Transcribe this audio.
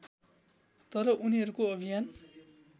तर उनीहरूको अभियान